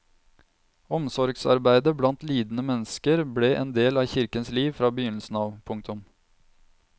Omsorgsarbeidet blant lidende mennesker ble en del av kirkens liv fra begynnelsen av. punktum